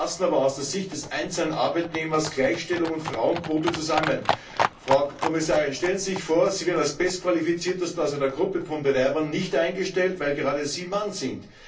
Wie passen aber aus der Sicht des einzelnen Arbeitnehmers Gleichstellung und Frauenquote zusammen? Frau Kommissarin, stellen Sie sich vor, Sie werden als Bestqualifizierte einer Gruppe von Bewerbern nicht eingestellt, weil Sie ein Mann sind.